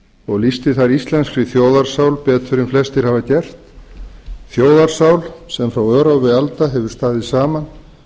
og lýsti þar íslenskri þjóðarsál betur en flestir hafa gert þjóðarsál sem frá örófi alda hefur staðið saman